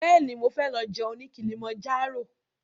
Bẹ́ẹ̀ni, mo fẹ́ lọ jẹun ní Kilimanjaro